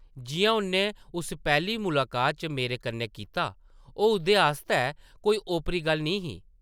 जिʼयां उʼन्नै उस पैह्ली मुलाकात च मेरे कन्नै कीता, ओह् उसदे आस्तै कोई ओपरी गल्ल निं ही ।